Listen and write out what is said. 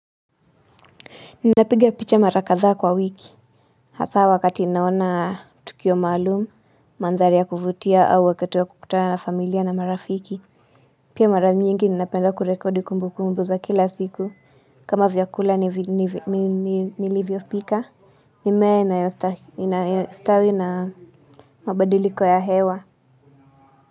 Ninapiga picha mara kadhaa kwa wiki. Hasa wakati naona tukio maalum, mandhari ya kuvutia au wakati wa kukutana na familia na marafiki. Pia mara mingi ninapenda kurekodi kumbukumbu za kila siku. Kama vyakula nilivyopika. Mimea inayostawi na mabadiliko ya hewa.